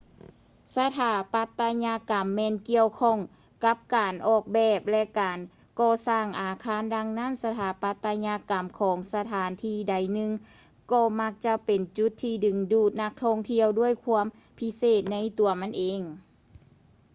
ສະຖາປັດຕະຍະກຳແມ່ນກ່ຽວຂ້ອງກັບການອອກແບບ ແລະ ການກໍ່ສ້າງອາຄານ ດັ່ງນັ້ນ ສະຖາປັດຕະຍະກຳຂອງສະຖານທີ່ໃດໜຶ່ງກໍມັກຈະເປັນຈຸດທີ່ດຶງດູດນັກທ່ອງທ່ຽວດ້ວຍຄວາມພິເສດໃນຕົວມັນເອງ